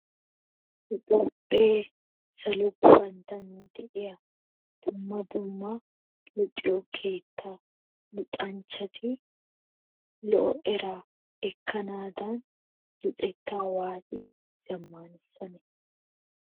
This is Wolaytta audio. Nu Toophphee salo guppantton de'iya dumma dumma luxiyo keetta luxxanchchati lo"o eraa ekkanaadan luxettaa waati zammaaanissanne ?